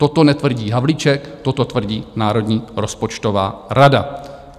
Toto netvrdí Havlíček, toto tvrdí Národní rozpočtová rada.